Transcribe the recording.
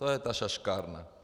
To je ta šaškárna.